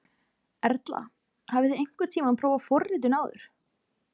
Erla: Hafið þið einhvern tímann prófað forritun áður?